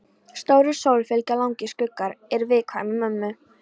Stórri sól fylgja langir skuggar, er viðkvæði mömmu.